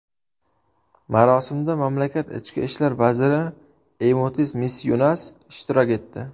Marosimda mamlakat ichki ishlar vaziri Eymutis Misyunas ishtirok etdi.